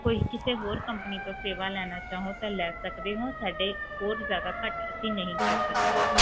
ਕੀਤੇ ਹੋਰ company ਤੋਂ ਸੇਵਾ ਲੈਣਾ ਚਾਹੋ ਤਾਂ ਲੈ ਸਕਦੇ ਹੋ ਸਾਡੇ ਹੋਰ ਜ਼ਯਾਦਾ ਘਾਟ ਅਸੀਂ ਨਹੀਂ ਕਰ ਸਕਦੇ